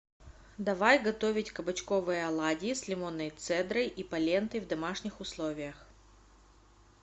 давай готовить кабачковые оладьи с лимонной цедрой и полентой в домашних условиях